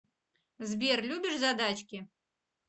сбер любишь задачки